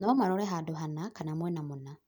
no marore handũ hana kana mwena mũna